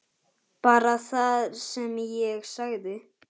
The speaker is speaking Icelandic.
Bara það sem ég sagði.